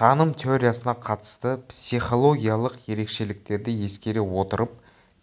таным теориясына қатысты психологиялық ерекшеліктерді ескере отырып